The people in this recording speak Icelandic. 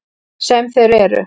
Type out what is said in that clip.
Sem þeir eru.